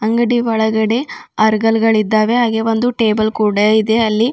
ಅಂಗಡಿಯ ಒಳಗಡೆ ಅರ್ಗಲ್ಗಳಿದ್ದಾವೆ ಹಾಗೆ ಒಂದು ಟೇಬಲ್ ಕೂಡ ಇದೆ ಅಲ್ಲಿ.